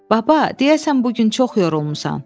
Baba, deyəsən bu gün çox yorulmusan.